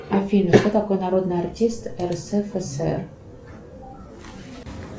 афина кто такой народный артист рсфср